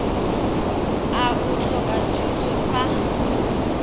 a o tlhoka thuso fa